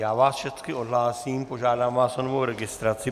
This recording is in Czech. Já vás všecky odhlásím, požádám vás o novou registraci.